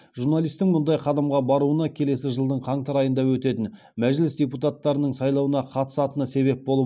журналистің мұндай қадамға баруына келесі жылдың қаңтар айында өтетін мәжіліс депутаттарының сайлауына қатысатыны себеп болып